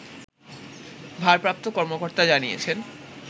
ভারপ্রাপ্ত কর্মকর্তা জানিয়েছেন